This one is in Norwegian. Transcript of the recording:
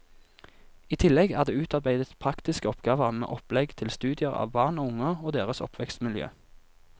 I tillegg er det utarbeidet praktiske oppgaver med opplegg til studier av barn og unge og deres oppvekstmiljø.